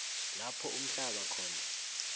lapho uhlamba khona